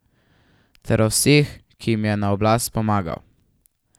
Ter o vseh, ki jim je na oblast pomagal.